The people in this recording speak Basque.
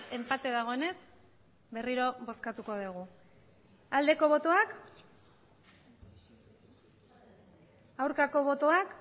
enpate dagoenez berriro bozkatuko dugu aldeko botoak aurkako botoak